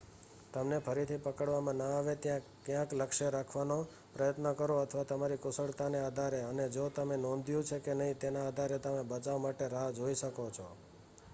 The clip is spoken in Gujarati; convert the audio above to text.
તમને ફરીથી પકડવામાં ન આવે ત્યાં ક્યાંક લક્ષ્ય રાખવાનો પ્રયત્ન કરો અથવા તમારી કુશળતાને આધારે અને જો તમે નોંધ્યું છે કે નહીં તેના આધારે તમે બચાવ માટે રાહ જોઈ શકો છો